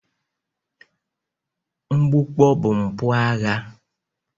Mgbukpọ bụ mpụ agha